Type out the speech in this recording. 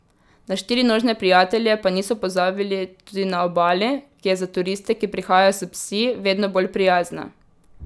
Na štirinožne prijatelje pa niso pozabili tudi na Obali, ki je za turiste, ki prihajajo s psi, vedno bolj prijazna.